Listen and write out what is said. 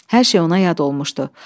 Hər şey ona yad olmuşdu.